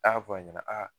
A y'a fɔ a ɲɛna aa